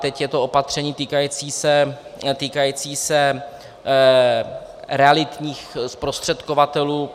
Teď je to opatření týkající se realitních zprostředkovatelů.